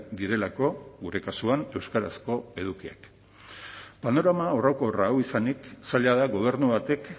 direlako gure kasuan euskarazko edukiak panorama orokor hau izanik zaila da gobernu batek